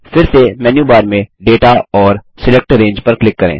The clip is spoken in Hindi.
फिर से मेन्यू बार में दाता और सिलेक्ट रंगे पर क्लिक करें